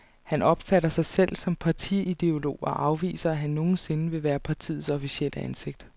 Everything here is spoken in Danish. Han opfatter sig selv som partiideolog og afviser, at han nogen sinde vil være partiets officielle ansigt.